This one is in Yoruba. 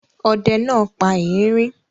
Ọdẹ náà pa erin?